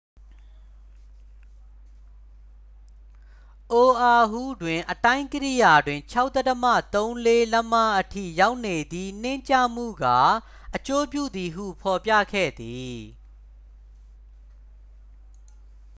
"အိုအာဟူတွင် အတိုင်းကိရိယာတွင် ၆.၃၄ လက်မအထိ ရောက်နေသည့် နှင်းကျမှုက "အကျိုးပြု" သည်ဟု ဖော်ပြခဲ့သည်။